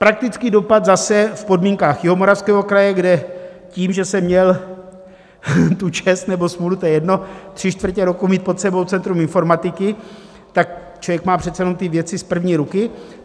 Praktický dopad, zase v podmínkách Jihomoravského kraje, kde tím, že jsem měl tu čest nebo smůlu, to je jedno, tři čtvrtě roku mít pod sebou centrum informatiky, tak člověk má přece jen ty věci z první ruky.